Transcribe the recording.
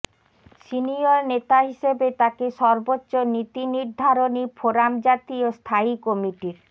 senior নেতা হিসেবে তাকে সর্বোচ্চ নীতিনির্ধারণী ফোরাম জাতীয় স্থায়ী কমিটির